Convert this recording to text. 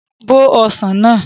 Bó ọsàn náà!